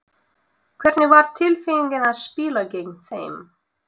Hvernig var tilfinningin að spila gegn þeim?